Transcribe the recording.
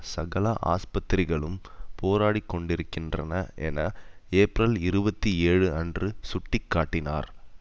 சகல ஆஸ்பத்திரிகளும் போராடிக் கொண்டிருக்கின்றன என ஏப்பிரல் இருபத்தி ஏழு அன்று சுட்டி காட்டினார்